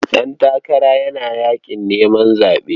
Ɗantakara yana yaƙin neman zaɓe.